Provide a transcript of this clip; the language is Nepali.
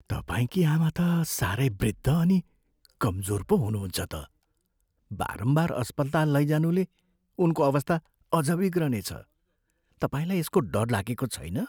तपाईँकी आमा त साह्रै वृद्ध अनि कमजोर पो हुनुहुन्छ त। बारम्बार अस्पताल लैजानुले उनको अवस्था अझ बिग्रनेछ। तपाईँलाई यसको डर लागेको छैन?